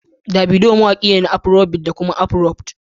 Davido mawaƙi ne na Afrobeat da kuma Afroop